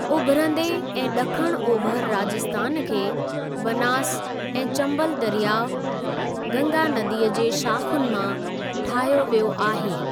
उभिरंदे ऐं ॾखणु ओभर राजस्थान खे बनास ऐं चम्बल दरियाअ, गंगा नदीअ जे शाख़ुनि मां ठाहियो वियो आहे।